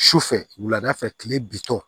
Sufɛ wulada fɛ kile bitɔ